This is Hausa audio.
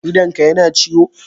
Idonka yana ciwo?